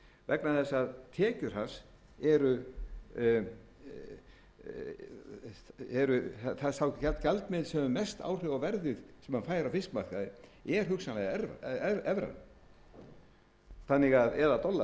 vegna þess að tekjur hans eru sá gjaldmiðill sem hefur mest áhrif á verðið sem hann fær á fiskmarkaði er hugsanlega evran eða dollar eftir því hvert sú